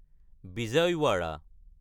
Vijayawada